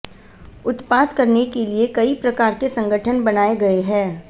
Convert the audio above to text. उत्पात करने के लिए कई प्रकार के संगठन बनाए गए हैं